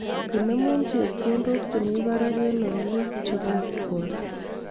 Inemu chepkondok che mi barak eng olik che bo kipkoi